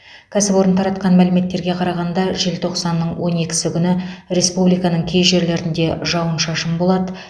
кәсіпорын таратқан мәліметтерге қарағанда желтоқсанның он екісі күні республиканың кей жерлерінде жауын шашын болады